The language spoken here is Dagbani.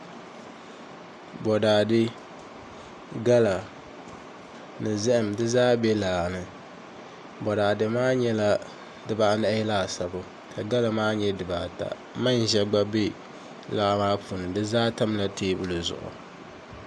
Boraadɛ gala ni zaham di zaa bɛ laa ni boraadɛ maa nyɛla dibaanahi laasabu la gala maa nyɛ dibaata manʒa gba bɛ laa maa puuni di zaa tamla teebuli zuɣu